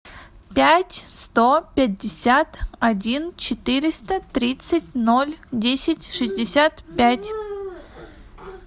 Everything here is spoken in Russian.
пять сто пятьдесят один четыреста тридцать ноль десять шестьдесят пять